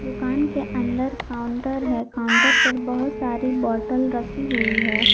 दुकान के अंदर काउंटर है काउंटर पर बहुत सारी बोतल रखी हुई है।